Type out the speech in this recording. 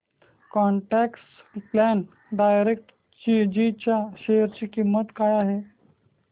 quant tax plan direct G च्या share ची किंमत काय आहे